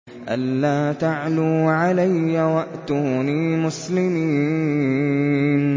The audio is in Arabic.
أَلَّا تَعْلُوا عَلَيَّ وَأْتُونِي مُسْلِمِينَ